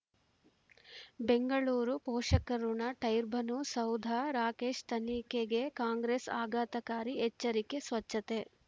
ಬೆಂಗಳೂರು ಪೋಷಕಋಣ ಟೈರ್ಬನು ಸೌಧ ರಾಕೇಶ್ ತನಿಖೆಗೆ ಕಾಂಗ್ರೆಸ್ ಆಘಾತಕಾರಿ ಎಚ್ಚರಿಕೆ ಸ್ವಚ್ಛತೆ